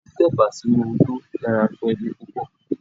Tí tẹ̀bà sínu odó dára fún ẹbí púpọ̀.